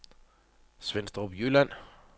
Svenstrup Jylland